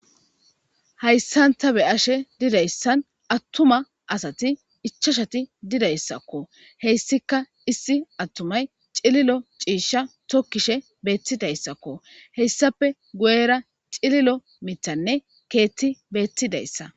Hayisan ta be ashe dizayisi atumati ichashati dizayisako hesika issi atumayi ci'lilo ci'isha tokishe betizayisko hesappe guyera ci'lilo mithanne kethi betidaysa